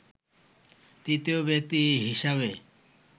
তৃতীয় ব্যক্তি হিসাবে